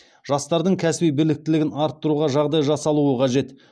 жастардың кәсіби біліктілігін арттыруға жағдай жасалуы қажет